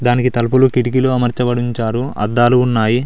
దానికి తలుపులు కిటికీలు అమర్చబడి ఉంచారు అద్దాలు ఉన్నాయి.